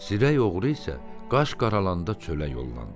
Zirək oğru isə qaş qaralanda çölə yollandı.